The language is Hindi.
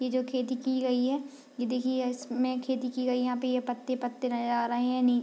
ये जो खेती की गयी है । ये देखिये यह इसमें खेती की गयी है । यहाँ पे ये पत्ते-पत्ते नजर आ रहे हैं | नि --